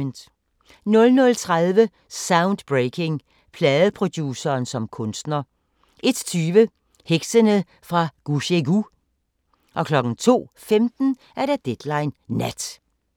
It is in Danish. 00:30: Soundbreaking – Pladeproduceren som kunstner 01:20: Heksene fra Gushegu 02:15: Deadline Nat